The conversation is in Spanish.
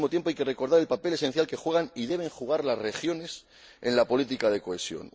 Al mismo tiempo, hay que recordar el papel esencial que juegan y deben jugar las regiones en la política de cohesión.